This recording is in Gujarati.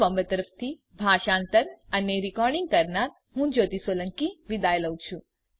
iit બોમ્બે તરફથી સ્પોકન ટ્યુટોરીયલ પ્રોજેક્ટ માટે ભાષાંતર કરનાર હું જ્યોતી સોલંકી વિદાય લઉં છું